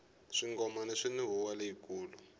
swingomani swini huwa leyi kulu